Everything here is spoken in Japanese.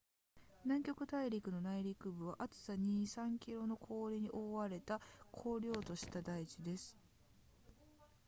南極大陸の内陸部は厚さ 2～3 km の氷に覆われた荒涼とした台地です